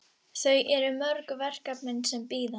Þau eru mörg verkefnin sem bíða.